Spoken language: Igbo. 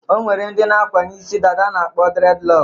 O nwere ndị na-akwanye isi dada a na-akpọ dredlọk.